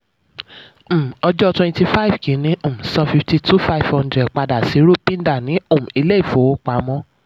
um ọjọ́ twenty five kínní: um san fifty two five hundred padà sí rupinder ní um ilé ìfowópamọ́